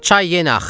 Çay yenə axır.